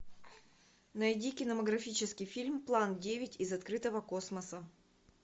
найди кинематографический фильм план девять из открытого космоса